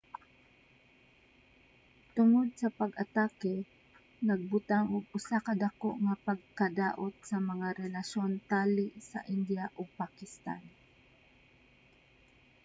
tungod sa pag-atake nagbutang og usa ka dako nga pagkadaot sa mga relasyon tali sa india ug pakistan